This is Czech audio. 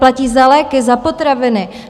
Zaplatí za léky, za potraviny.